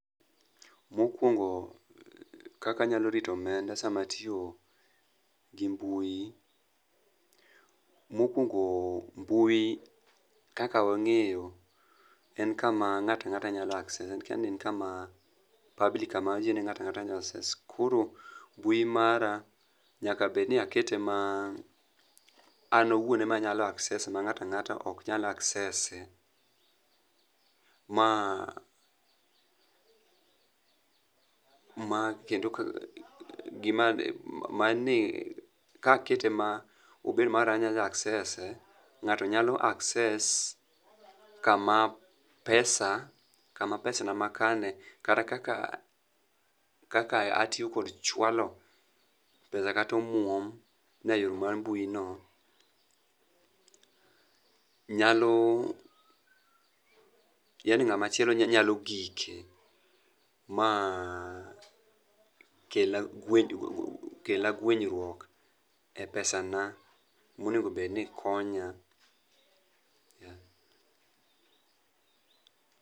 Mokwongo kaka anyalo rito omenda sama atiyo gi mbui, mokwongo mbui kaka wang'eyo en kaka ng'ata ang'ata nyalo access. Koro mbui mara nyaka bed ni akete ma an awuon ema anyalo access ma ng'ata ang'ata ok nyal access e. Ka akete ma obed mara an anya access e, ng'ato nyalo access kama pesana makane kata kaka atiyo kod chwalo pesa kata omuom na e yore mar mbuino yani ng'ama chielo nyalo gike ma kelna guenyruok e pesana monegobed ni konya, yeah.